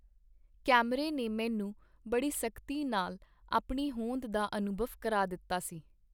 ਕੈਮਰੇ ਨੇ ਮੈਨੂੰ ਬੜੀ ਸਖਤੀ ਨਾਲ ਆਪਣੀ ਹੋਂਦ ਦਾ ਅਨੁਭਵ ਕਰਾ ਦਿੱਤਾ ਸੀ.